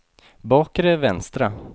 bakre vänstra